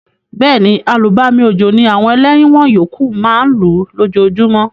Béèni, àlùbami òjò ni àwon eléwon yókù ma n lú lójojúmó